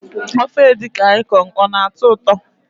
Ofe edikang ikong ọ na- atọ ụtọ?